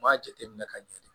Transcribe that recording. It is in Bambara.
N b'a jateminɛ ka ɲɛ de